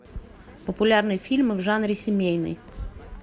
популярные фильмы в жанре семейный